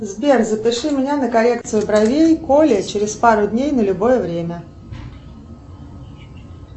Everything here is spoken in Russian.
сбер запиши меня на коррекцию бровей к оле через пару дней на любое время